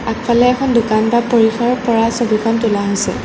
আগফালে এখন দোকান বা পৰিসৰৰ পৰা ছবিখন তোলা হৈছে।